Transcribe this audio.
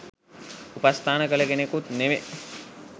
උපස්ථාන කළ කෙනෙකුත් නෙවෙයි.